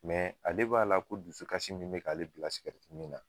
ale b'a la ko dusukasi min bɛ k'ale bila sikɛriti min na.